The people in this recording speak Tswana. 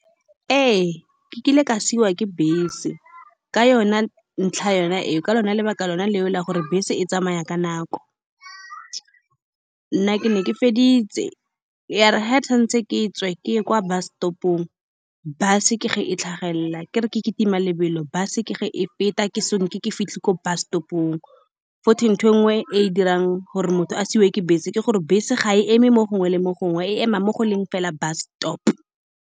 Ee, ke kile ka siiwa ke bese ka yone ntlha, yone eo ka yone lebaka lone leo la gore bese e tsamaya ka nako. Nna ke ne ke feditse, ya re fa ke tshwanetse ke tswe, ke ye kwa bus stop-ong. Bus-e ke ge e tlhagelela, ke re ke kitima lebelo, bus-e ke ge e feta. Ke so nke ke fitlhe ko bus stop-ong, gotwe ntho e nngwe e e dirang gore motho a siiwe ke bese ke gore bese ga e eme mo gongwe le mo gongwe, e ema mo go leng fela bus stop-o.